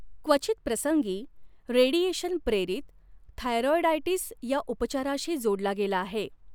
क्वचित प्रसंगी, रेडिएशन प्रेरित थायरॉईडायटीस या उपचाराशी जोडला गेला आहे.